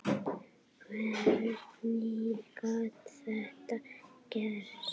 Hvernig gat þetta gerst?